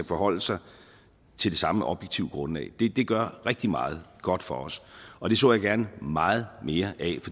forholde sig til det samme objektive grundlag det gør rigtig meget godt for os og det så jeg gerne meget mere af